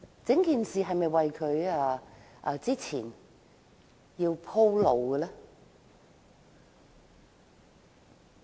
整件事是否為她鋪路呢？